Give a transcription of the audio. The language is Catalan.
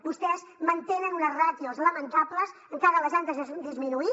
vostès mantenen unes ràtios lamentables encara les han disminuït